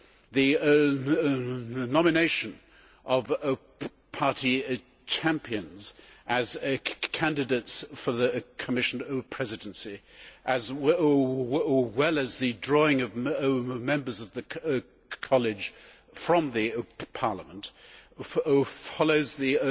The nomination of party champions as candidates for the Commission Presidency, as well as the drawing of members of the college from the Parliament, follows the